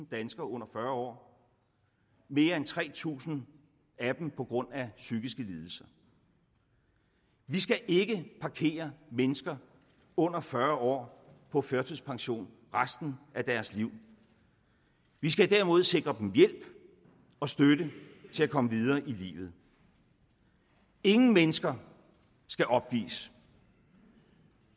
danskere under fyrre år mere end tre tusind af dem på grund af psykiske lidelser vi skal ikke parkere mennesker under fyrre år på førtidspension resten af deres liv vi skal derimod sikre dem hjælp og støtte til at komme videre i livet ingen mennesker skal opgives